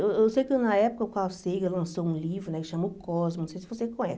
Eu eu sei que na época o Carl Sager lançou um livro, né, que chama O Cosmo, não sei se você conhece.